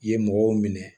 I ye mɔgɔw minɛ